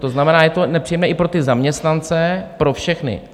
To znamená, je to nepříjemné i pro ty zaměstnance, pro všechny.